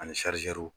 Ani